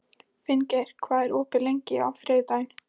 Finngeir, hvað er opið lengi á þriðjudaginn?